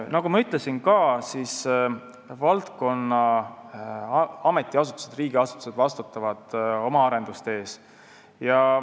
Nagu ma ütlesin, siis valdkonna ametiasutused, riigiasutused vastutavad oma arenduste eest.